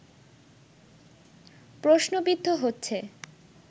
প্রশ্নবিদ্ধ হচ্ছে